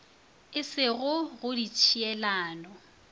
e se go go ditšhielano